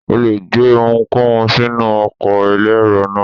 O le gbé ohunkóhun sínú ọkọ̀ elérò náà.